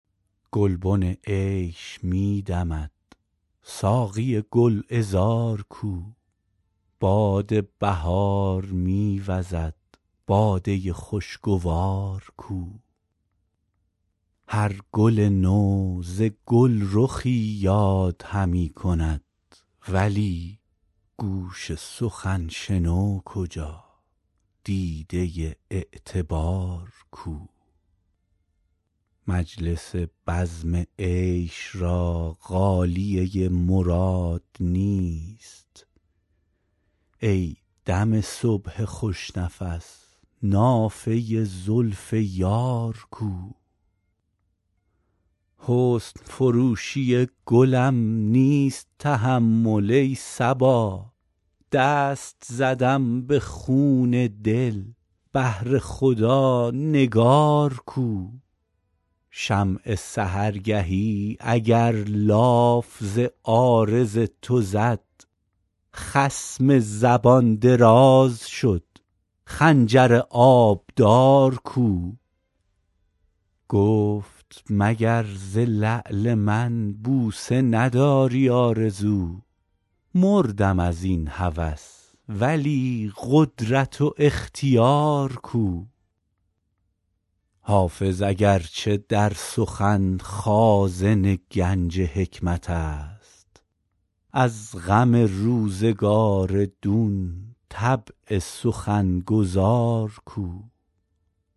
گلبن عیش می دمد ساقی گل عذار کو باد بهار می وزد باده خوش گوار کو هر گل نو ز گل رخی یاد همی کند ولی گوش سخن شنو کجا دیده اعتبار کو مجلس بزم عیش را غالیه مراد نیست ای دم صبح خوش نفس نافه زلف یار کو حسن فروشی گلم نیست تحمل ای صبا دست زدم به خون دل بهر خدا نگار کو شمع سحرگهی اگر لاف ز عارض تو زد خصم زبان دراز شد خنجر آبدار کو گفت مگر ز لعل من بوسه نداری آرزو مردم از این هوس ولی قدرت و اختیار کو حافظ اگر چه در سخن خازن گنج حکمت است از غم روزگار دون طبع سخن گزار کو